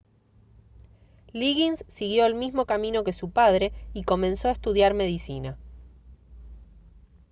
liggins siguió el mismo camino que su padre y comenzó a estudiar medicina